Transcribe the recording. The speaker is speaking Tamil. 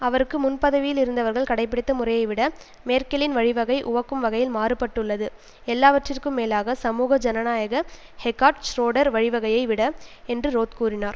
அவருக்கு முன் பதவியில் இருந்தவர்கள் கடைபிடித்த முறையை விட மேர்க்கிலின் வழிவகை உவக்கும் வகையில் மாறுபட்டுள்ளது எல்லாவற்றிற்கும் மேலாக சமூக ஜனநாயக ஹெகாட் ஷ்ரோடர் வழிவகையைவிட என்று ரோத் கூறினார்